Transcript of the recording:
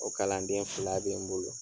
O kalanden fila bɛ n bolo.